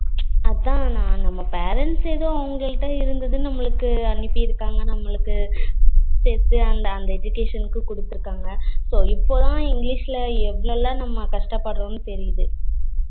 அஹ் அதான் நா நம்ம parents யே தான் அவங்கள்ட இருந்தது நம்மளுக்கு அனுபிருக்கங்க நம்மளுக்கு அந்த education குடுத்துருக்காங்க so இப்போதான் english ல எவ்வளோலாம் நம்ம கஷ்டபடுரோமனு தெரிது